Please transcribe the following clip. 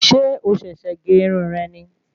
Ṣé o sèsè gé irun re ni?